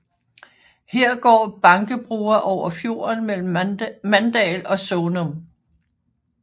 Her går Bankebroa over fjorden mellem Mandal og Sånum